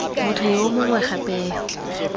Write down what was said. motho yo mongwe gape yo